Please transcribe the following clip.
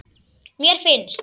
Mér finnst.